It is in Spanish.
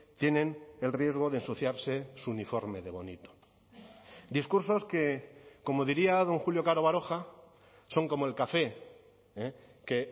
tienen el riesgo de ensuciarse su uniforme de bonito discursos que como diría don julio caro baroja son como el café que